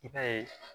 I b'a ye